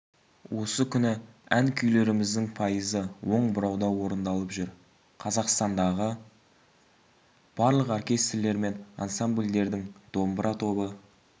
осы күні ән-күйлеріміздің пайызы оң бұрауда орындалып жүр қазақстандағы барлық оркестрлер мен ансамбльдердің домбыра тобы